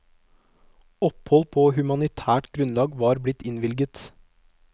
Opphold på humanitært grunnlag var blitt innvilget.